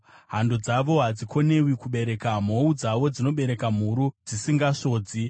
Hando dzavo hadzikonewi kubereka, mhou dzavo dzinobereka mhuru dzisingasvodzi.